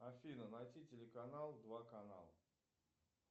афина найти телеканал два канал